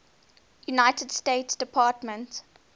united states department